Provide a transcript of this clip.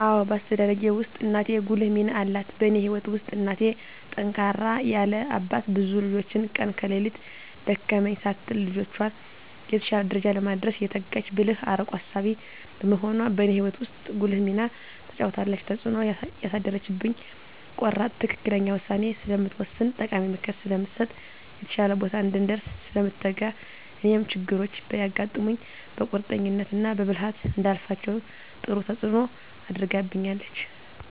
አዎ በአስተዳደጌ ውስጥ እናቴ ጉልህ ሚና አላት በእኔ ህይወት ውስጥ እናቴ ጠንካራ ያለ አባት ብዙ ልጆችን ቀን ከሌት ደከመኝ ሳትል ልጆቿን የተሻለ ደረጃ ለማድረስ የተጋች ብልህ አርቆ አሳቢ በመሆኗ በእኔ ህይወት ውስጥ ጉልህ ሚና ተጫውታለች። ተፅእኖ ያሳደረችብኝ ቆራጥ ትክክለኛ ውሳኔ ስለምትወስን ጠቃሚ ምክር ስለምትሰጥ፣ የተሻለ ቦታ እንድንደርስ ስለምትተጋ እኔም ችግሮች ቢያጋጥሙኝ በቁርጠኝነት እና በብልሀት እንዳልፋቸው ጥሩ ተፅኖ አድርጋብኛለች።